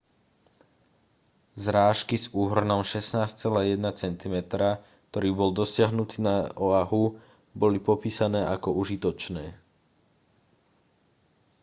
zrážky s úhrnom 16,1 cm ktorý bol dosiahnutý na oahu boli popísané ako užitočné